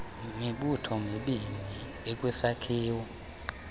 mibutho mibini ikwisakhiwo